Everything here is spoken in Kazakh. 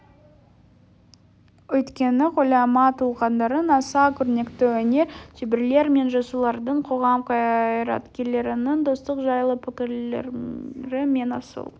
өйткені ғұлама тұлғалардың аса көрнекті өнер шеберлері мен жазушылардың қоғам қайраткерлерінің достық жайлы пікірлері мен асыл